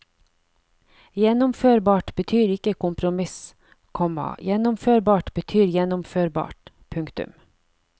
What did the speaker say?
Gjennomførbart betyr ikke kompromiss, komma gjennomførbart betyr gjennomførbart. punktum